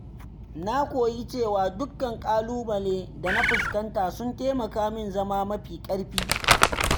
Na koyi cewa dukkan ƙalubalen da na fuskanta sun taimaka min zama mafi ƙarfi.